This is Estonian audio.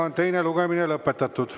Teine lugemine on lõpetatud.